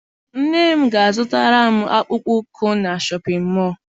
Nne m ga a zụtara m akpụkpọ ụkwụ na Shọpịn mọọ.